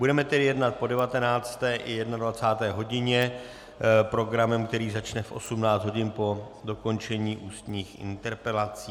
Budeme tedy jednat po 19. i 21. hodině programem, který začne v 18 hodin po dokončení ústních interpelací.